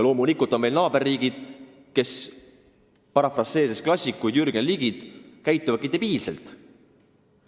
Loomulikult on meil naaberriigid, kes, kui parafraseerida klassik Jürgen Ligit, käituvad debiilselt.